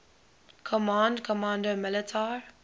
command comando militar